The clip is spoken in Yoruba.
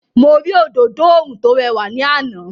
Mo rí òdodo oòrùn tó rẹwà ní àná.